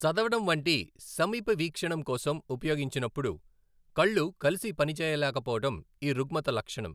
చదవడం వంటి సమీప వీక్షణం కోసం ఉపయోగించినప్పుడు, కళ్ళు కలిసి పనిచేయలేకపోవడం ఈ రుగ్మత లక్షణం.